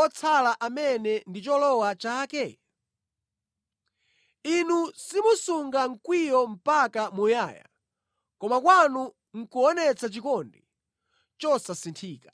otsala amene ndi cholowa chake? Inu simusunga mkwiyo mpaka muyaya koma kwanu nʼkuonetsa chikondi chosasinthika.